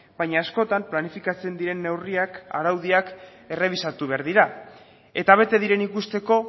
baina askotan planifikatzen diren neurriak araudiak errebisatu behar dira eta bete diren ikusteko